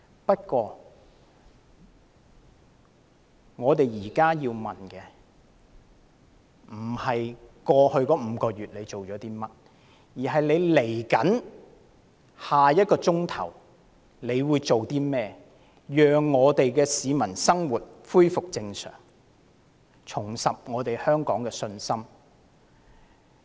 不過，我們現在要問的不是特區政府在過去5個月做了些甚麼，而是在未來1小時會做些甚麼，讓市民的生活恢復正常，重拾對香港的信心。